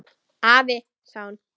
Afi, sagði hún.